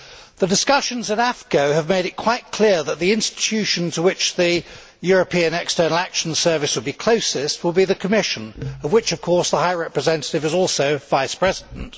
The discussions in AFCO have made it quite clear that the institution to which the European External Action Service will be closest will be the Commission, of which, of course, the High Representative is also Vice President.